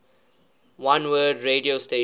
oneword radio station